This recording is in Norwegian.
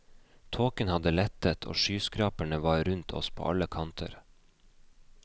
Tåken hadde lettet, og skyskraperne var rundt oss på alle kanter.